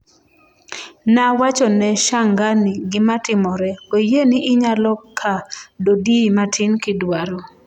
"Nawachone (Shangani) gimatimore … oyie ni inyalo ka dodiyi matin kidwaro?